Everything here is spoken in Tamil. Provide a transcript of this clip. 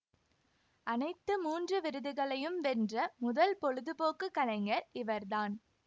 அனைத்து மூன்று விருதுகளையும் வென்ற முதல் பொழுதுபோக்கு கலைஞர் இவர் தான்